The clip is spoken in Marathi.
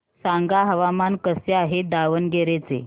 सांगा हवामान कसे आहे दावणगेरे चे